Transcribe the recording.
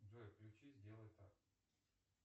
джой включи сделай так